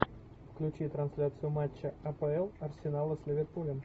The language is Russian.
включи трансляцию матча апл арсенала с ливерпулем